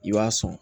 I b'a sɔn